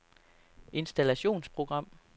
installationsprogram